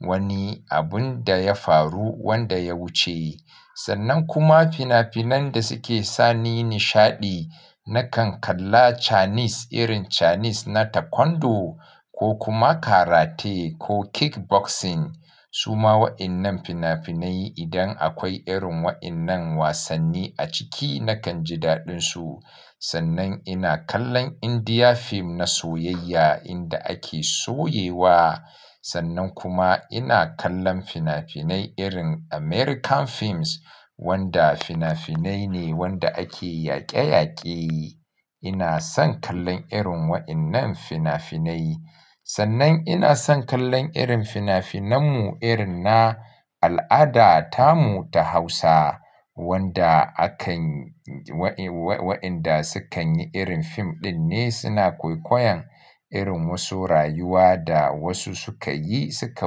wani abun da ya faru wanda ya wuce. Sannan kuma fina-finan da suke sani nishaɗi nakan kalla Chinese irin Chinese na Taekwondo ko kuma Karate ko Kickboxing. Su ma waɗannan fina-finai idan akwai irin wa innan wasanni a ciki nakan ji daɗinsu. Sannan ina kallon India fim na soyayya inda ake soyewa. Sannan kuma ina kallon fina-finai irin American films wanda fina-finai ne wanda ake yaƙe-yaƙe. Ina son kallon irin waɗannan fina-finai. Sannan ina son kallon irin fina-finan mu irin na al'ada tamu ta Hausa wanda akan wa inɗa sukan yi irin fim ɗin ne suna kwaikwayon irin wasu rayuwa da wasu suka yi suka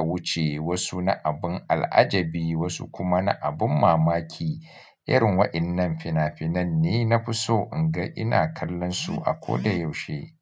wuce, wasu na abun al'ajabi wasu kuma na abin mamaki. Irin wa innan fina-finan ne na fi so in ga ina kallonsu a koda yaushe.